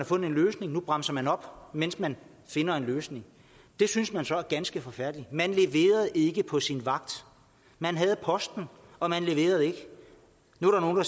fundet en løsning nu bremser man op mens man finder en løsning det synes man så er ganske forfærdeligt man leverede ikke på sin vagt man havde posten og man leverede ikke nu er